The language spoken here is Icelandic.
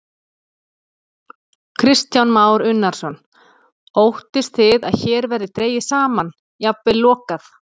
Kristján Már Unnarsson: Óttist þið að hér verði dregið saman, jafnvel lokað?